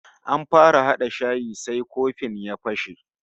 An fara hada shayi sai kofin ya fashe